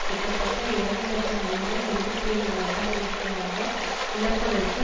கிட்டத்தட்ட இரண்டு இலட்சம் உயிர்கள் இருபத்தி ஐந்து வருடங்களுக்கு மேலாக இழப்பதற்கு